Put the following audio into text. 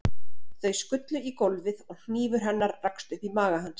Þau skullu í gólfið og hnífur hennar rakst upp í maga hans.